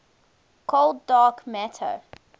cold dark matter